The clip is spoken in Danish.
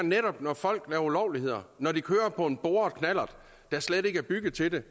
når folk begår ulovligheder når de kører på en boret knallert der slet ikke er bygget til det